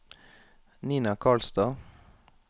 Nina Karlstad